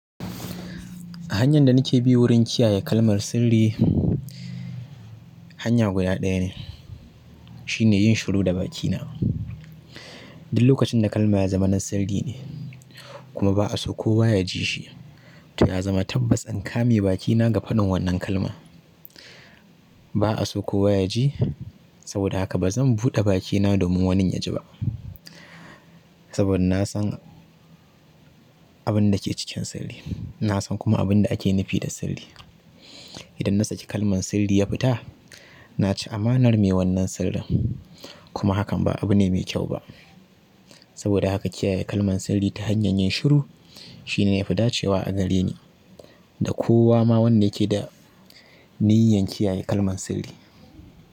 Hanyar da nake bi wurin kiyaye kalmar sirri hanya guda ɗaya ne shine yin shiru da bakina lokacin da kalma ya zama na sirri kuma ba'a so kowa ya ji shi, to ya zama tabbas in kame bakina ga faɗin wannan kalmar ba'a so kowa ya ji, saboda haka ba zan buɗe bakina domin wanin ya ji ba. Saboda na san abin da ke cikin sirri, na san kuma abin da ake nufi da sirri. Idan na saki kalman sirri ya fita, naci amanar mai wannan sirrin kuma hakan ba abu ne mai kyau ba. Saboda haka kiyaye kalmar sirri ta hanyar yin shiru shine yafi dacewa a gareni da kowa ma wanda yake da niyyar kiyaye kalman sirri.